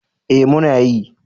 Eh muna yi.